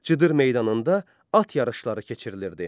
Cıdır meydanında at yarışları keçirilirdi.